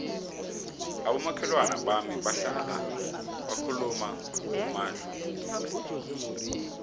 abomakhelwana bami bahlala bakhuluma ngomadluphuthu